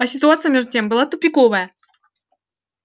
а ситуация между тем была тупиковая